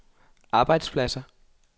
arbejdspladser